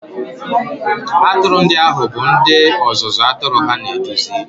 Atụrụ ndị ahụ bụ ndị ọzụzụ atụrụ ha na-eduzi